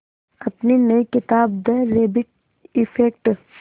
अपनी नई किताब द रैबिट इफ़ेक्ट